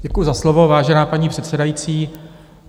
Děkuji za slovo, vážená paní předsedající.